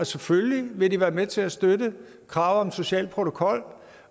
selvfølgelig vil være med til at støtte kravet om en social protokol